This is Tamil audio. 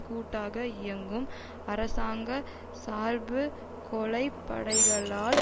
கூட்டாக இயங்கும் அரசாங்க சார்பு கொலை படைகளால்